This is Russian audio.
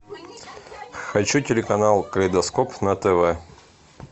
хочу телеканал калейдоскоп на тв